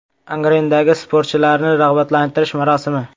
Angrendagi sportchilarni rag‘batlantirish marosimi.